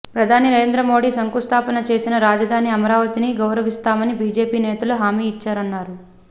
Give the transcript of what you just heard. ప్రధాని నరేంద్ర మోడీ శంకుస్థాపన చేసిన రాజధాని అమరావతిని గౌరవిస్తామని బిజెపి నేతలు హామీ ఇచ్చారన్నారు